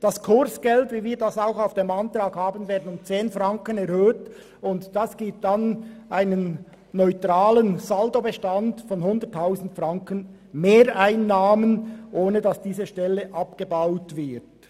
Wird zudem das Kursgeld um 10 Franken erhöht, wie wir es auch beantragen, ergibt dies einen neutralen Saldobestand von 100 000 Franken Mehreinnahmen, ohne dass diese Stelle abgebaut wird.